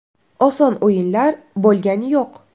Oson o‘yinlar bo‘lgani yo‘q.